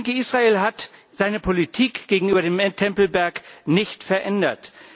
Ich denke, Israel hat seine Politik gegenüber dem Tempelberg nicht verändert.